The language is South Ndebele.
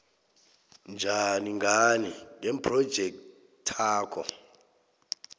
njani ngani ngephrojekthakho